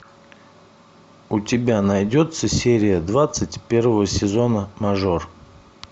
у тебя найдется серия двадцать первого сезона мажор